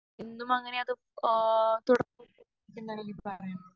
എന്നും അങ്ങിനെ അത് ആഹ് തുറന്ന് പറയുന്നത്